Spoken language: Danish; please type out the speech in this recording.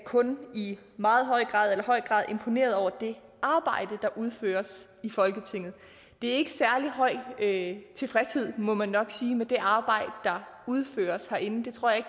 kun i meget høj grad eller høj grad imponeret over det arbejde der udføres i folketinget det er ikke en tilfredshed må man nok sige med det arbejde der udføres herinde jeg tror ikke